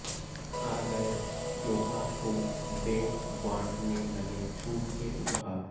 आ गए त्योहार तो बैंक बांटने लगे छूट के उपहार